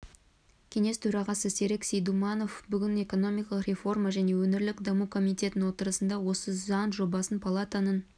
кеңес төрағасы серік сейдуманов бүгін экономикалық реформа және өңірлік даму комитетінің отырысында осы заң жобасын палатаның